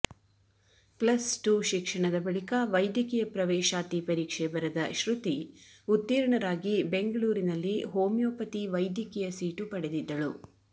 plus two ಶಿಕ್ಷಣದ ಬಳಿಕ ವೈದ್ಯಕೀಯ ಪ್ರವೇಶಾತಿ ಪರೀಕ್ಷೆ ಬರೆದ ಶ್ರುತಿ ಉತ್ತೀರ್ಣರಾಗಿ ಬೆಂಗಳೂರಿನಲ್ಲಿ ಹೋಮಿಯೋಪತಿ ವೈದ್ಯಕೀಯ ಸೀಟು ಪಡೆದಿದ್ದಳು